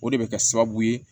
O de bɛ kɛ sababu ye